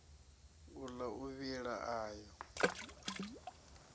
u ḽa u vhila ayo